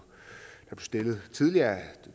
stillet tidligere af herre